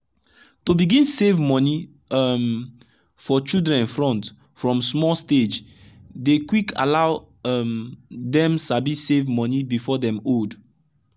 to begin save money um for children front from small stagedey quick allow um them sabi save money before them old.